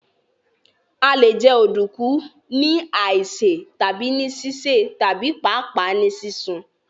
À lè jẹ Ọ̀dunkun ní àísè, tabi ni sísẹ̀ tabi paapaa nì sisun.